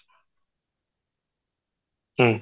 ହୁଁ